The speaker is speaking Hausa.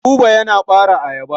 Buba yana ɓare ayaba.